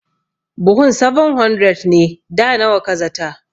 Buhun 700 ne, da nawa ka zata?